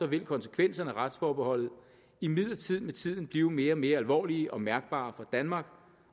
vil konsekvenserne af retsforbeholdet imidlertid med tiden blive mere og mere alvorlige og mærkbare for danmark